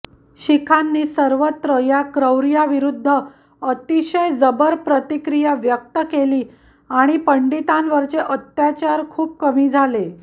शिखांनी सर्वत्र या क्रौर्याविरुद्ध अतिशय जबर प्रतिक्रिया व्यक्त केली आणि पंडितांवरचे अत्याचार खूप कमी झाले